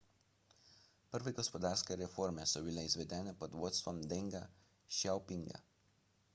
prve gospodarske reforme so bile izvedene pod vodstvom denga šjaopinga